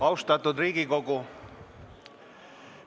Austatud Riigikogu!